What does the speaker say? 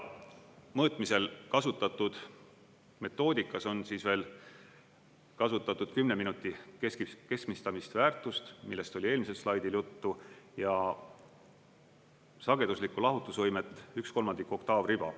Mõõtmisel kasutatud metoodikas on veel kasutatud 10 minuti keskmistamisväärtust, millest oli eelmisel slaidil juttu, ja sageduslikku lahutusvõimet üks kolmandik oktaavriba.